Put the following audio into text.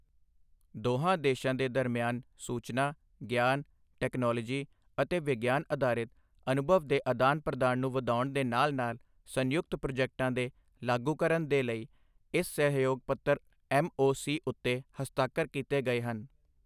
ਦੋਹਾਂ ਦੇਸ਼ਾਂ ਦੇ ਦਰਮਿਆਨ ਸੂਚਨਾ, ਗਿਆਨ, ਟੈਕਨੋਲੋਜੀ ਅਤੇ ਵਿਗਿਆਨ ਅਧਾਰਿਤ ਅਨੁਭਵ ਦੇ ਅਦਾਨ ਪ੍ਰਦਾਨ ਨੂੰ ਵਧਾਉਣ ਦੇ ਨਾਲ-ਨਾਲ ਸੰਯੁਕਤ ਪ੍ਰੋਜੈਕਟਾਂ ਦੇ ਲਾਗੂਕਰਨ ਦੇ ਲਈ ਇਸ ਸਹਿਯੋਗ ਪੱਤਰ ਐੱਮ ਓ ਸੀ ਉੱਤੇ ਹਸਤਾਖ਼ਰ ਕੀਤੇ ਗਏ ਹਨ।